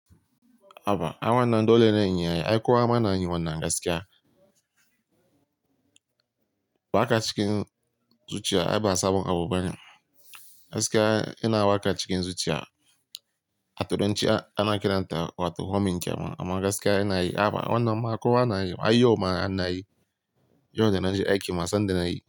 Haba, ai wannan dole ne in yi ai, ai ko ama na yi wannan gaskiya. Waka cikin zuciya ai ba sabon abu bane. Gaskiya ina waka cikin zuciya, a turanci ana kiranta wato "humming" kenan. Amma gaskiya ina yi, haba wannan ma kowa na yi, ai yau mana na yi, yau da na je aiki ma sanda na yi.